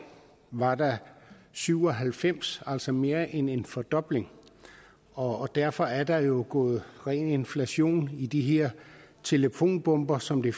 var der syv og halvfems det altså mere end en fordobling og derfor er der jo gået inflation i de her telefonbomber som de